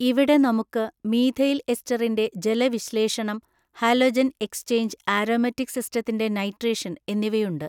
ഇവിടെ നമുക്ക് മീഥൈൽ എസ്റ്ററിന്റെ ജലവിശ്ലേഷണം ഹാലൊജൻ എക്സ്ചേഞ്ച് ആരോമാറ്റിക് സിസ്റ്റത്തിന്റെ നൈട്രേഷൻ എന്നിവയുണ്ട്.